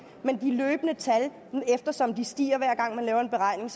men eftersom de stiger hver gang man laver en beregning